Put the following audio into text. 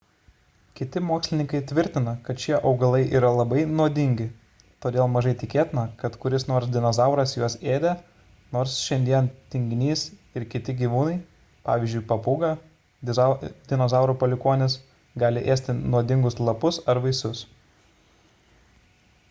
kiti mokslininkai tvirtina kad šie augalai yra labai nuodingi todėl mažai tikėtina kad kuris nors dinozauras juos ėdė nors šiandien tinginys ir kiti gyvūnai pavyzdžiui papūga dinozaurų palikuonis gali ėsti nuodingus lapus ar vaisius